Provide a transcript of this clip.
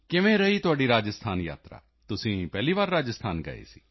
ਕਿਵੇਂ ਰਹੀ ਤੁਹਾਡੀ ਰਾਜਸਥਾਨ ਯਾਤਰਾ ਤੁਸੀਂ ਪਹਿਲੀ ਵਾਰ ਰਾਜਸਥਾਨ ਗਏ ਸੀ